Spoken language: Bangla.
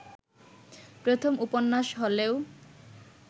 প্রথম উপন্যাস হলেও